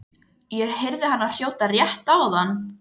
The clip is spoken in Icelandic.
Ég heyrði hana hrjóta rétt áðan.